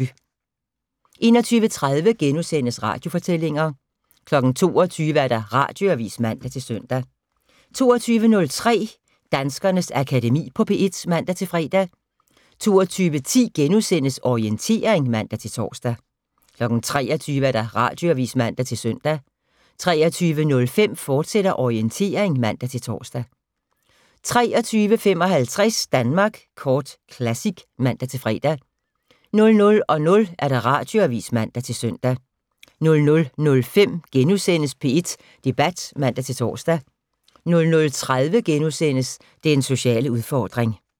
21:30: Radiofortællinger * 22:00: Radioavis (man-søn) 22:03: Danskernes Akademi på P1 (man-fre) 22:10: Orientering *(man-tor) 23:00: Radioavis (man-søn) 23:05: Orientering, fortsat (man-tor) 23:55: Danmark Kort Classic (man-fre) 00:00: Radioavis (man-søn) 00:05: P1 Debat *(man-tor) 00:30: Den sociale udfordring *